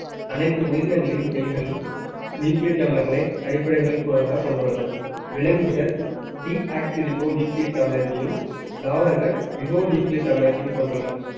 அனைத்து உயிரினங்களின் செல்கள் nucleic அமிலங்களை அடிப்படைகள் க~ கொண்டுள்ளன. விலங்குகள் nucleic அமிலத்தையும் தாவரங்கள் அமிலத்தையும் கொண்டுள்ளன